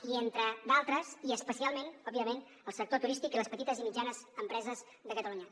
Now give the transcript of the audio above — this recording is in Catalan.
i entre d’altres i especialment òbviament al sector turístic i a les petites i mitjanes empreses de catalunya